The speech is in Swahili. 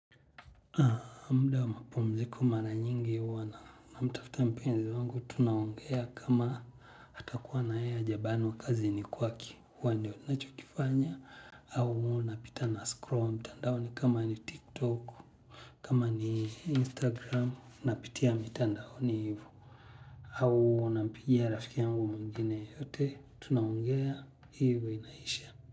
Mda wa mapumziko mara nyingi huwa na mtafta mpenzi wangu tunaongea kama hata kuwa nayeye hajabanwa kazini kwake huwa ndio nachokifanya. Au huonapita na scroll mtandaoni kama ni tiktok kama ni instagram napitia mitandaoni hivo. Au unapigia rafikia yangu mwingine yote tunaongea hivo inaisha.